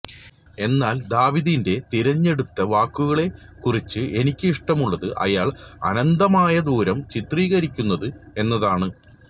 എന്നാൽ ദാവീദിന്റെ തിരഞ്ഞെടുത്ത വാക്കുകളെക്കുറിച്ച് എനിക്ക് ഇഷ്ടമുള്ളത് അയാൾ അനന്തമായ ദൂരം ചിത്രീകരിക്കുന്നത് എന്നതാണ്